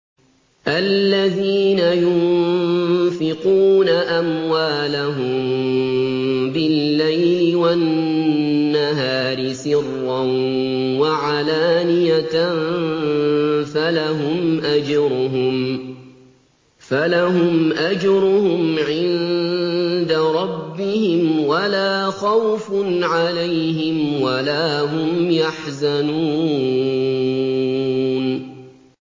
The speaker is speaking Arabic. الَّذِينَ يُنفِقُونَ أَمْوَالَهُم بِاللَّيْلِ وَالنَّهَارِ سِرًّا وَعَلَانِيَةً فَلَهُمْ أَجْرُهُمْ عِندَ رَبِّهِمْ وَلَا خَوْفٌ عَلَيْهِمْ وَلَا هُمْ يَحْزَنُونَ